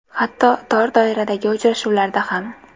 Hatto tor doiradagi uchrashuvlarda ham.